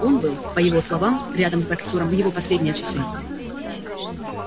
он был по его словам рядом с боксёром в его последние часы